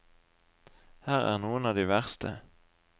Her er noen av de verste.